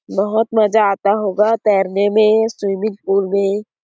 बहुत मजा आता होगा तैरने में स्विमिंग पूल में --